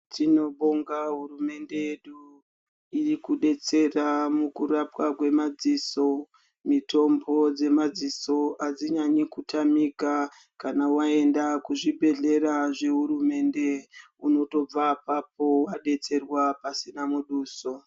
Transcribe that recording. Tinobonga hurumende yedu irikudetsera mukurapwa kwemadziso mitombo dzemadziso adzinyanyi kutamika kana waenda kuzvibhedhlera zvehurumende unotobva apapo wadetserwa pasina muduso.